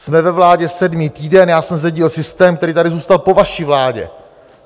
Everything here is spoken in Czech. Jsme ve vládě sedmý týden, já jsem zdědil systém, který tady zůstal po vaší vládě.